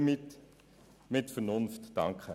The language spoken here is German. Stimmen Sie mit Vernunft ab.